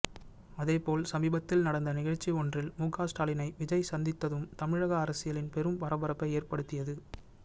அதேபோல் சமீபத்தில் நடந்த நிகழ்ச்சி ஒன்றில் முக ஸ்டாலினை விஜய் சந்தித்ததும் தமிழக அரசியலில் பெரும் பரபரப்பை ஏற்படுத்தியது